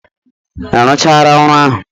Ị rụchara ọrụ ahụ?